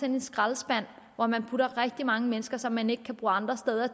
en skraldespand hvor man putter rigtig mange mennesker hen som man ikke kan bruge andre steder